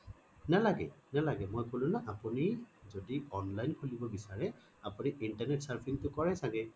নালাগে নালাগে মই কলো ন আপুনি যদি online খোলিব বিচাৰে আপুনি internet surfing টো কৰে চাগে